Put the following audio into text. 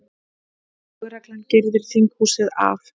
Lögreglan girðir þinghúsið af